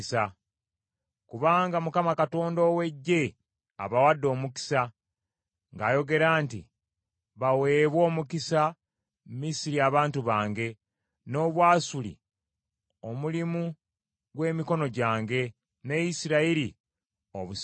Kubanga Mukama Katonda ow’Eggye abawadde omukisa, ng’ayogera nti, “Baweebwe omukisa Misiri abantu bange, n’Obwasuli omulimu gw’emikono gyange, ne Isirayiri obusika bwange.”